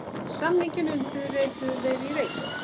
Samninginn undirrituðu í Reykjavík